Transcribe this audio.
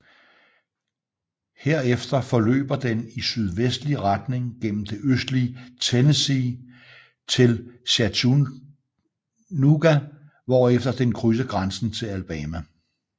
Herefter forløber den i sydvestlig retning gennem det østlige Tennessee til Chattanooga hvorefter den krydser grænsen til Alabama